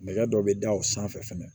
Nɛgɛ dɔ bɛ da o sanfɛ fɛnɛ